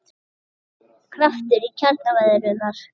Kraftur í kjaraviðræðurnar